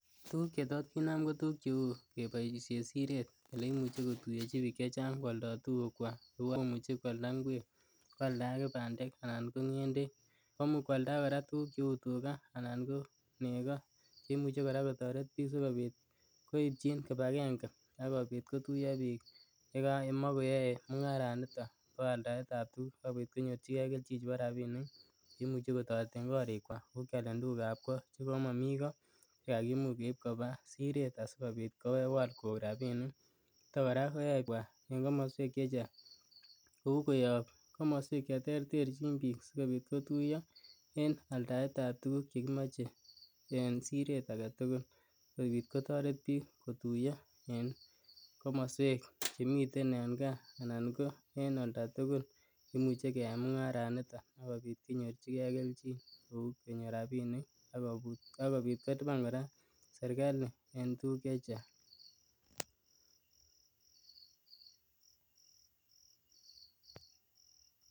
Tuguuk chetot kinam ko cheu keboisien siret eleimuche kotuiyechi biik chechang kwalda tugukwak alak komuche kwalda ngwek, kwalda ake bandek anan ng'endek, komuch kwalda ake tuguk cheu tugaa anan ko nego cheimuche kora kotoret biik sikopit koityin kipakenge akopit kotuiyo biik yemokoyoe mung'aranito ne bo aldaetab tuguk akopit konyorchikee kelchin ne bo rapinik che imuche kotoreten korikwak kou kyalen tugukab kot chekomomii koo asikeib kobaa siret asikobit kewal koik rapinik niton kora koyoe kobwa en komoswek chechang kou koyob komoswek cheterterchin biik sikobit kotuiyo en aldaetab tuguk chekimoche en siret agetugul sikopit kotoret biik kotuiyo en komoswek chemiten gaa anan ko en oltatugul eleimuche keyai mung'araniton akopit konyorchikee kelchin kou kenyor rapinik akopit kolipan rapinikab serikali en tuguk chechang.